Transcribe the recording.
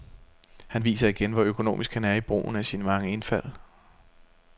Han viser igen, hvor økonomisk han er i brugen af sine mange indfald.